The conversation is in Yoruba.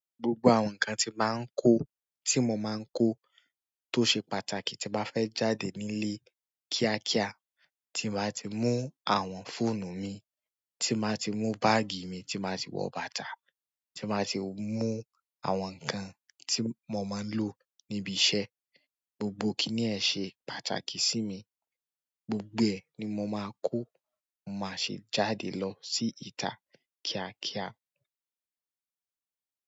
Gbogbo àwọn nǹkan tí màá ń kó, tí mo máa ń kó, tó ṣe pàtàkì tí bàá fẹ́ jáde nílé kíákíá, tí n ba ti mú àwọn fóònù mi, tí n bàá ti mú báàgì mi, tí n bàá ti wọ bàtà, tí n bàá ti mú àwọn nǹkan tí mo máa ń lò níbi iṣẹ́. Gbogbo kiní ẹ̀ ṣe pàtàkì sí mi, gbogbo ẹ̀ ni mò máa kó, màá ṣe jáde lọ sí ìta kíákíá.